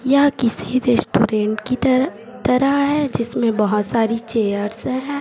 यह किसी रेस्टोरेंट की तरह तरह है जिसमें बहुत सारी चेयर्स है।